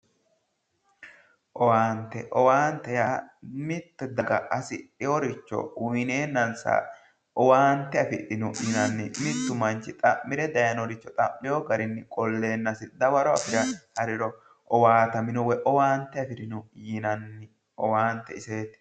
Owaante yaa mitte daga hasidheworicho uyineennanssa owaante afidhinno yinanni mittu mancho xa'mire dayinoricho xa'mirewo garinni dawaro afire hariro owaataminno woyi owaante afirino yinanni owaante iseetti